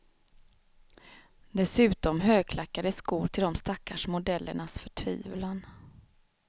Dessutom högklackade skor till de stackars modellernas förtvivlan.